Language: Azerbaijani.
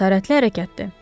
Cəsarətli hərəkətdir.